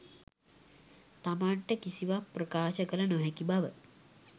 තමන්ට කිසිවක් ප්‍රකාශ කළ නොහැකි බව